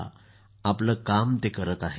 नाविद आपलं कार्य करत आहेत